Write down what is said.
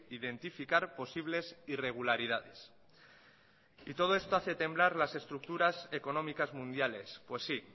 identificar posibles irregularidades y todo esto hace temblar las estructuras económicas mundiales pues sí